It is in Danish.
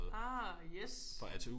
Ah yes